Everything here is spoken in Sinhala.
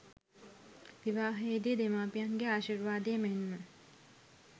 විවාහයේ දී දෙමාපියන්ගේ ආශීර්වාදය මෙන්ම